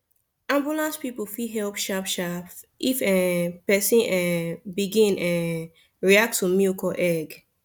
ambulance people fit help sharp sharp if um person um begin um react to milk or egg